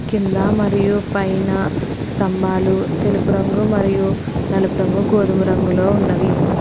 కింద మరియు పైన స్థంభాలు తెలుపు రంగు మరియు నలుపు రంగు గోధుమ రంగులో ఉన్నవి.